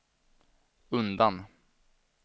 undan